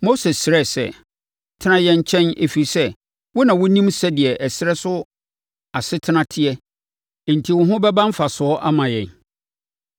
Mose srɛɛ sɛ, “Tena yɛn nkyɛn, ɛfiri sɛ, wo na wonim sɛdeɛ ɛserɛ so asetena teɛ enti wo ho bɛba mfasoɔ ama yɛn.